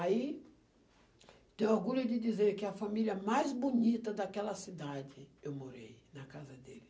Aí tenho orgulho de dizer que a família mais bonita daquela cidade eu morei na casa dele.